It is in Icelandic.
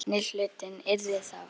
Seinni hlutinn yrði þá